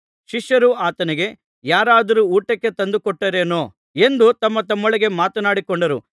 ಶಿಷ್ಯರು ಆತನಿಗೆ ಯಾರಾದರೂ ಊಟಕ್ಕೆ ತಂದು ಕೊಟ್ಟರೇನೊ ಎಂದು ತಮ್ಮತಮ್ಮೊಳಗೆ ಮಾತನಾಡಿಕೊಂಡರು